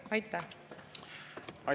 Aitäh!